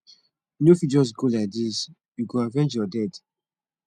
you no fit just go like this you go avenge your dead